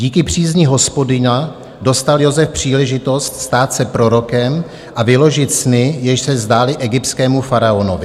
Díky přízni Hospodina dostal Josef příležitost stát se prorokem a vyložit sny, jež se zdály egyptskému faraonovi.